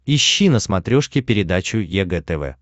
ищи на смотрешке передачу егэ тв